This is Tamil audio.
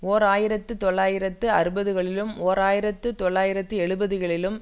ஓர் ஆயிரத்தி தொள்ளாயிரத்து அறுபது களிலும் ஓர் ஆயிரத்தி தொள்ளாயிரத்து எழுபதுகளிலும்